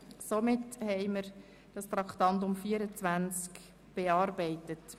Damit haben wir das Traktandum 24 bearbeitet.